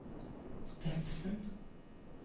Vefsn